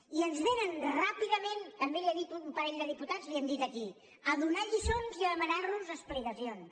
i ens vénen ràpidament també li ho han dit un parell de diputats li ho han dit aquí a donar lliçons i a demanar nos explicacions